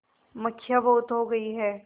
मक्खियाँ बहुत हो गई हैं